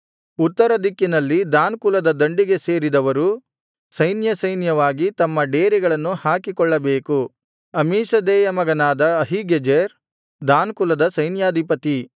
ಉತ್ತರ ದಿಕ್ಕಿನಲ್ಲಿ ದಾನ್ ಕುಲದ ದಂಡಿಗೆ ಸೇರಿದವರು ಸೈನ್ಯಸೈನ್ಯವಾಗಿ ತಮ್ಮ ಡೇರೆಗಳನ್ನು ಹಾಕಿಕೊಳ್ಳಬೇಕು ಅಮ್ಮೀಷದ್ದೈಯ ಮಗನಾದ ಅಹೀಗೆಜೆರ್ ದಾನ್ ಕುಲದ ಸೈನ್ಯಾಧಿಪತಿ